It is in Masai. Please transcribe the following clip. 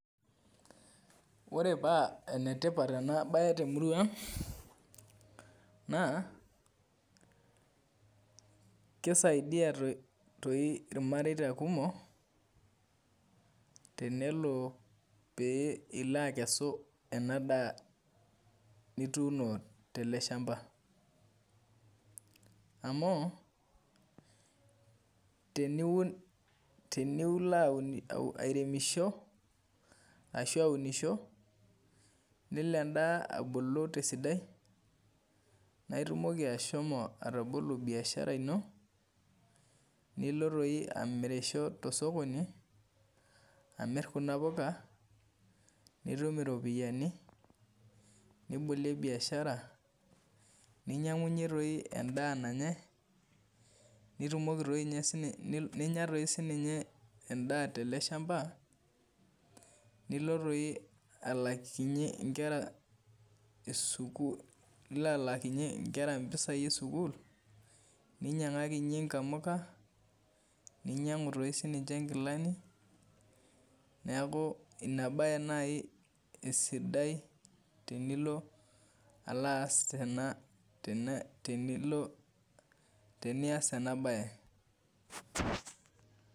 Ore paa enetipat ena baye temurua ang' naa kisaidia tooi irmarei kumok tenilo akesu ena daa nituuno tele shamaba amu teniun airemisho nelo endaa abulu tesidai naa itumoki atabolo biashara ino nilo toi amirisho tosokoni amirr kuna puka nitum iropiyiani nibolie biashara ninyiang'unyie toi endaa nanyai ninya toi sininye endaa tele shamba nilo toi alaakinyie nkera mpisai esukuul ninyiang'akinyie nkamuka ninyiangu toi sininye nkilani neeku ina baye naai esidai tenilo teniaas ena baye.